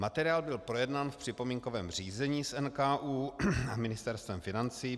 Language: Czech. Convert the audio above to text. Materiál byl projednán v připomínkovém řízení s NKÚ a Ministerstvem financí.